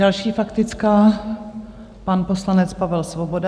Další faktická, pan poslanec Pavel Svoboda.